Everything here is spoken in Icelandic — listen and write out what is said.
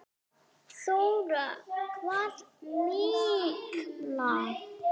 Þóra: Hvað mikla?